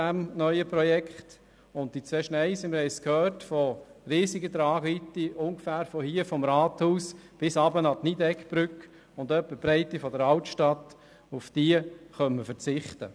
Auf diese zwei Schneisen von riesiger Tragweite, ungefähr ab hier, vom Rathaus, bis runter zur Nydeggbrücke und etwa die Breite der Altstadt, können wir verzichten.